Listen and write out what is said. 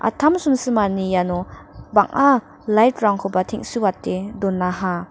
simsimani iano bang·a lait rangkoba teng·suate donaha.